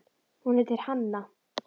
Hún heitir Hanna.